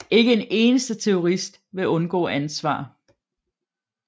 Ikke en eneste terrorist vil undgå ansvar